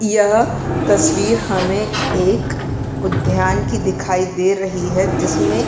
यह तस्वीर हमे एक उद्यान की दिखाई दे रही है जिसमें--